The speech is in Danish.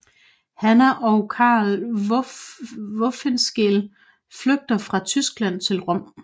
Hanna og Karl Wolfskehl flygter fra Tyskland til Rom